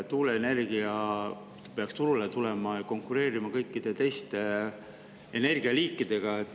Tuuleenergia peaks turule tulema ja konkureerima kõikide teiste energialiikidega.